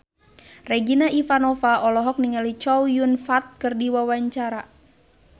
Regina Ivanova olohok ningali Chow Yun Fat keur diwawancara